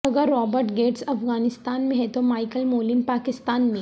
اگر Robert Gates Afghanistan میں ہیں تو مائیکل مولن پاکستان میں